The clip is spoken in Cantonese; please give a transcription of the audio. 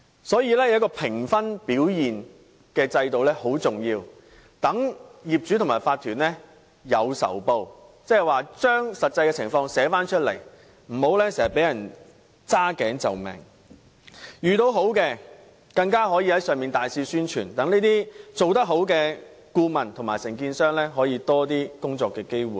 所以，評分的制度很重要，可令業主和法團"有仇報"，將實際情況寫出來，無須經常"揸頸就命"；而遇到好的公司時，更可以大肆宣傳，令這些做得好的顧問和承建商可以得到多些工作機會。